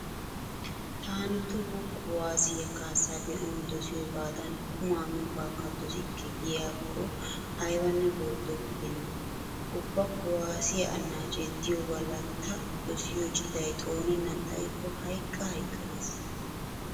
Taani toho kuwaassiya kaassa be'anawu dosiyogaadan qumaa miiyogaakka dosikke giyakko aybanne worddo gidenna. Ubba kuwaassiya annaacee diyo galla ta dosiyo citay xooneennan xayikko hayqqa hayqqa ge'es.